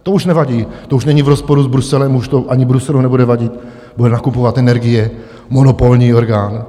To už nevadí, to už není v rozporu s Bruselem, už to ani Bruselu nebude vadit, bude nakupovat energie, monopolní orgán.